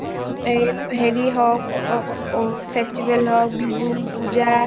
এই হেৰি হওক festival হওক বিহু পূজা